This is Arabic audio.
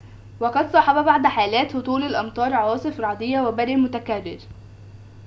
وقد صاحب بعض حالات هطول الأمطار عواصف رعدية وبرق متكرر